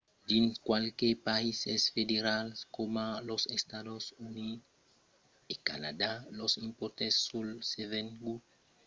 dins qualques païses federals coma los estats units e canadà los impòstes sul revengut son prelevats a l’encòp al nivèl federal e al nivèl local alara los nivèls e los escalons d'imposicion pòdon variar de region a region